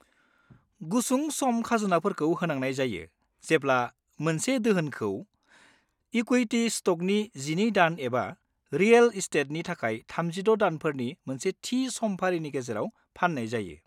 गुसुं-सम खाजोनाफोरखौ होनांनाय जायो जेब्ला मोनसे दोहोनखौ इकुइटी स्ट'कनि 12 दान एबा रिएल एस्टेटनि थाखाय 36 दानफोरनि मोनसे थि समफारिनि गेजेराव फान्नाय जायो।